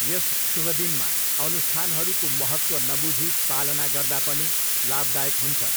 यस शुभ दिनमा अनुष्ठानहरूको महत्त्व नबुझी पालना गर्दा पनि, लाभदायक हुन्छ।